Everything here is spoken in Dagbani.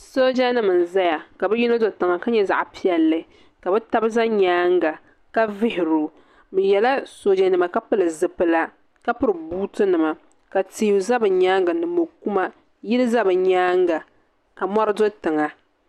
daadama n bɛ moɣini bɛ niribaanu ka niribaayi za zuɣisaa ka niribaata bɛ tingbani ka tihi bɛni nimaani ka mori gba bɛ nimaani ka so pɛri namda sabinli ka so piɛli zupili sabilinli